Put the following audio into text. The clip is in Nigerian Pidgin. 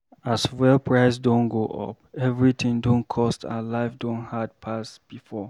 As fuel price don go up, everything don cost and life don hard pass before.